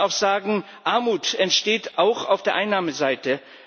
Wir müssen auch sagen Armut entsteht auch auf der Einnahmeseite.